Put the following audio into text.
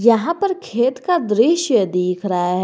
यहां पर खेत का दृश्य दिख रहा है।